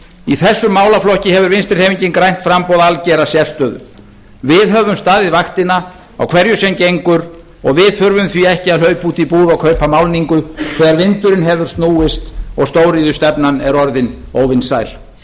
í þessum málaflokki hefur vinstri hreyfingin grænt framboð algera sérstöðu við höfum staðið vaktina á hverju sem gengur og við þurfum því ekki að hlaupa út í búð og kaupa málningu þegar vindurinn hefur snúist og stóriðjustefnan er orðin óvinsæl